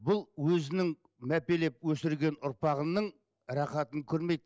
бұл өзінің мәпелеп өсірген ұрпағының рахатын көрмейді